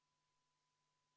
V a h e a e g